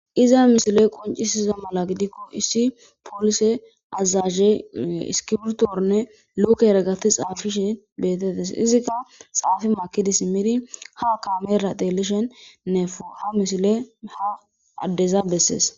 Iza misile qoncisiza mala gidikko issi poolise azaze iskibrtonne luuke worqati xaafishe beetettes. Izikka xaafi makidi simidi ha kaamera tseelishen diza ha misile ha addeza bessees.